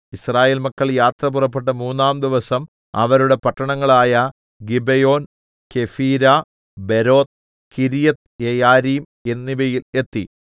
യിസ്രായേൽ മക്കൾ യാത്ര പുറപ്പെട്ട് മൂന്നാംദിവസം അവരുടെ പട്ടണങ്ങളായ ഗിബെയോൻ കെഫീര ബെരോത്ത് കിര്യത്ത്യെയാരീം എന്നിവയിൽ എത്തി